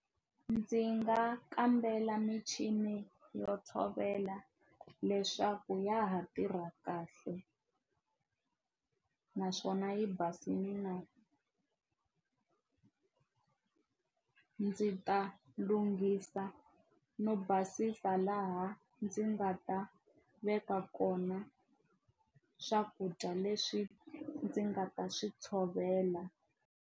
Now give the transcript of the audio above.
Ndzi nga kambela michini yo tshovela leswaku ya ha tirha kahle naswona yi basile na ndzi ta lunghisa no basisa laha ndzi nga ta veka kona swakudya leswi ndzi nga ta swi tshovela.